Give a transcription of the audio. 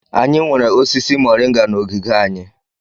Anyị nwere osisi mọrịnga na ogige anyị.